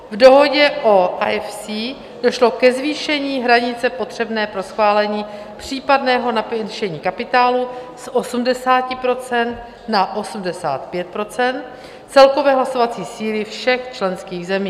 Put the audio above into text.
V dohodě o IFC došlo ke zvýšení hranice potřebné pro schválení případného navýšení kapitálu z 80 % na 85 % celkové hlasovací síly všech členských zemí.